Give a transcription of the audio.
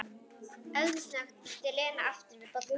Eldsnöggt ýtti Lena aftur við bollanum.